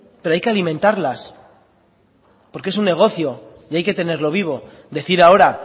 pero hay que alimentarlas porque es un negocio y hay que tenerlo vivo decir ahora